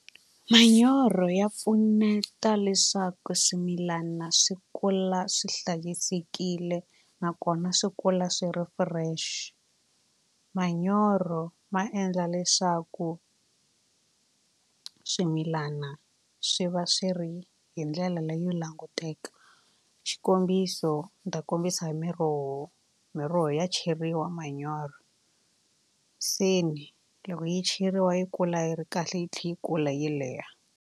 Manyoro ya pfuneta leswaku swimilana swi kula swi hlayisekile nakona swi kula swi ri fresh. Manyoro ma endla leswaku swimilana swi va swi ri hi ndlela leyo languteke xikombiso ni ta kombisa miroho miroho ya cheriwa manyoro se ni loko yi cheriwa yi kula yi ri kahle yi tlhe yi kula yi leha.